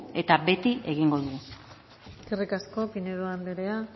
eta beti egingo dugu eskerrik asko pinedo andrea